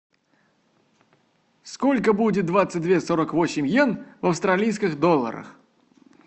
сколько будет двадцать две сорок восемь йен в австралийских долларах